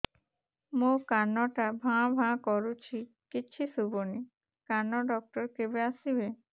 ମୋ କାନ ଟା ଭାଁ ଭାଁ କରୁଛି କିଛି ଶୁଭୁନି କାନ ଡକ୍ଟର କେବେ ଆସିବେ